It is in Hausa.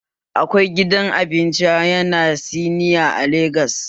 Akwai gidan abincin ƴan siniya a Legas